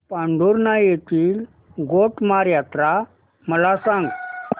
पांढुर्णा येथील गोटमार यात्रा मला सांग